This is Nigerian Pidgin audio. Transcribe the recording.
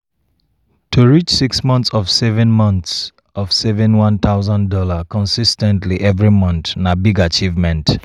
to reach six monts of saving monts of saving one thousand dollars consis ten tly every mont na big achievement.